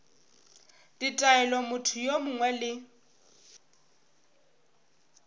ditaelo motho yo mongwe le